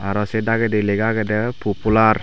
aro sei dagedi lega agedey pupular .